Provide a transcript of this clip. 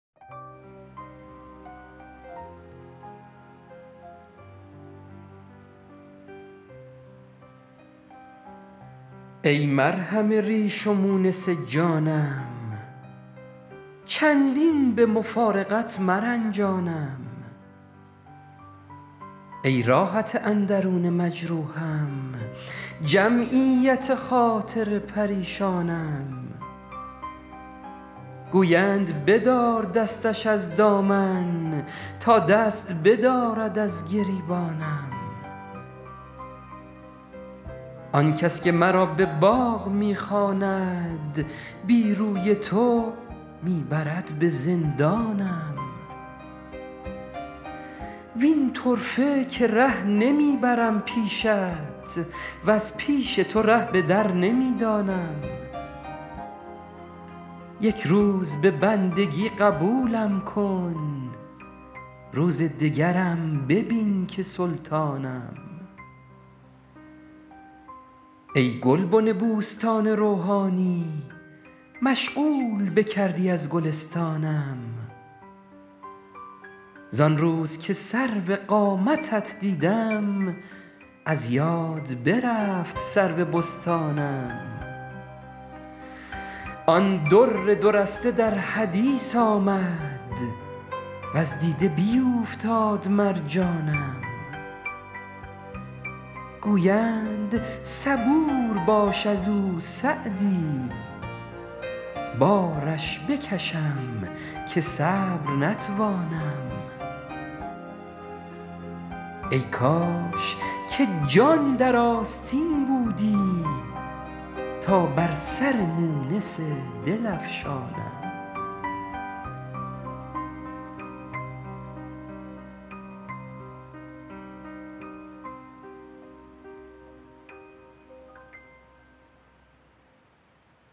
ای مرهم ریش و مونس جانم چندین به مفارقت مرنجانم ای راحت اندرون مجروحم جمعیت خاطر پریشانم گویند بدار دستش از دامن تا دست بدارد از گریبانم آن کس که مرا به باغ می خواند بی روی تو می برد به زندانم وین طرفه که ره نمی برم پیشت وز پیش تو ره به در نمی دانم یک روز به بندگی قبولم کن روز دگرم ببین که سلطانم ای گلبن بوستان روحانی مشغول بکردی از گلستانم زان روز که سرو قامتت دیدم از یاد برفت سرو بستانم آن در دو رسته در حدیث آمد وز دیده بیوفتاد مرجانم گویند صبور باش از او سعدی بارش بکشم که صبر نتوانم ای کاش که جان در آستین بودی تا بر سر مونس دل افشانم